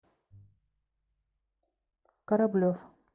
кораблев